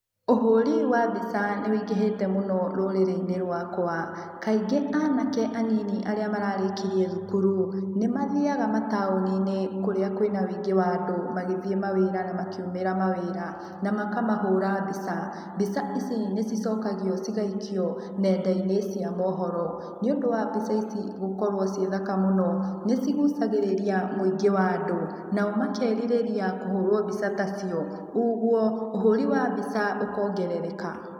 Ũhũri wa mbica nĩwĩingĩhĩte mũno rũrĩrĩ-inĩ rwakwa, kaingĩ anake anini arĩa mararĩkirie thukuru nĩmathiaga mataũni-inĩ kũrĩa kwĩna wĩingĩ wa andũ magĩthiĩ mawĩra na makiumĩra mawĩra, na makamahũra mbica. Mbica ici nĩcicokagio cigaikio nenda-inĩ cia mohoro. Nĩũndũ wa mbica ici gũkorwo ciĩ thaka mũno nĩcigucagĩrĩria mũingĩ wa andũ nao makerirĩria kũhũrwo mbica tacio, ũguo ũhũri wa mbica ũkongerereka.